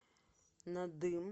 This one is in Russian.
надым